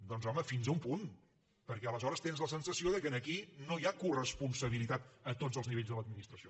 doncs home fins a un punt perquè aleshores tens la sensació que aquí no hi ha coresponsabilitat a tots els nivells de l’administració